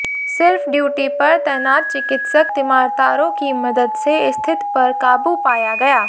सिर्फ ड्यूटी पर तैनात चिकित्सक तिमारतारों की मदद से स्थित पर काबू पाया गया